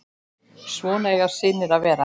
Svona eiga synir að vera.